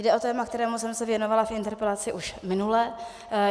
Jde o téma, kterému jsem se věnovala v interpelaci už minule.